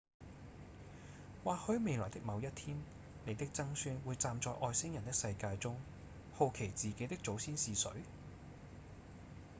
或許未來的某一天你的曾孫會在站在外星人的世界中好奇自己的祖先是誰？